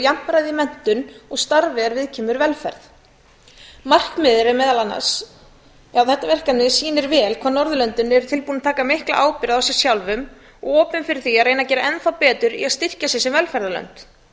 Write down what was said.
jafnræði í menntun og starfi er viðkemur velferð þetta verkefni sýnir vel hvað norðurlöndin eru tilbúin að taka mikla ábyrgð á sér sjálfum opin fyrir því að reyna að gera enn betur í að styrkja sig sem velferðarlönd